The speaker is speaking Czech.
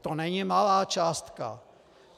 To není malá částka.